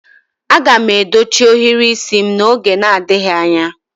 Aga m edochi ohiri isi m n'oge adịghị anya